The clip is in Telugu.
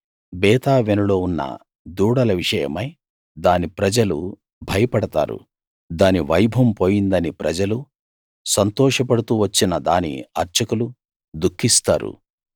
బేతావెనులో ఉన్న దూడల విషయమై దాని ప్రజలు భయపడతారు దాని వైభవం పోయిందని ప్రజలు సంతోష పడుతూ వచ్చిన దాని అర్చకులు దుఃఖిస్తారు